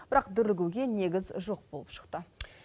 бірақ дүрлігуге негіз жоқ болып шықты